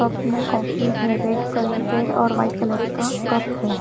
अपने कॉफ़ी में red colour है और वाइट कलर का कप है।